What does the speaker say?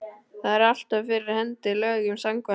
Það er alltaf fyrir hendi lögum samkvæmt.